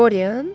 Dorien?